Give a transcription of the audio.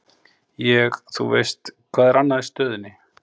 Ég, þú veist, hvað er annað í stöðunni?